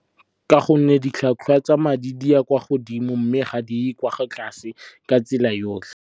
Ka gonne ditlhwatlhwa tsa madi di ya kwa godimo mme ga di ye kwa tlase ka tsela yotlhe.